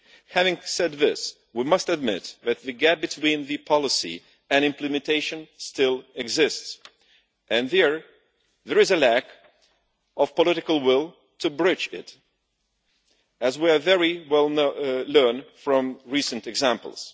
Having said this, we must admit that the gap between the policy and implementation still exists and here there is a lack of political will to bridge it, as we have learned very well from recent examples.